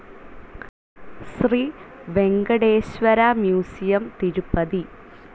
Shri Venkateswara museum, Tirupati